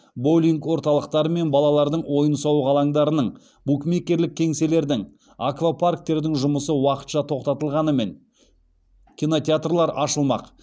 боулинг орталықтары мен балалардың ойын алаңдарының букмекерлік кеңселердің аквапарктердің жұмысы уақытша тоқтатылғанымен кинотеатрлар ашылмақ